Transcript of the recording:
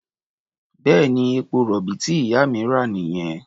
Bẹ́ẹ̀ni, epo-rọ̀bì tí ìyá mi rà nìyẹn.